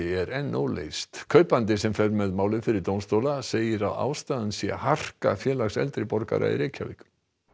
er enn óleyst kaupandi sem fer með málið fyrir dómstóla segir að ástæðan sé harka Félags eldri borgara í Reykjavík